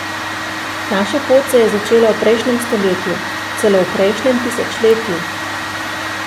Naša pot se je začela v prejšnjem stoletju, celo v prejšnjem tisočletju.